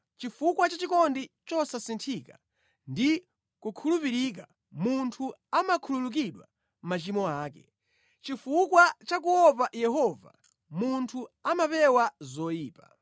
Chifukwa cha chikondi chosasinthika ndi kukhulupirika, munthu amakhululukidwa machimo ake; chifukwa cha kuopa Yehova munthu amapewa zoyipa.